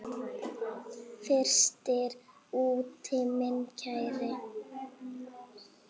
Frystir úti minn kæri.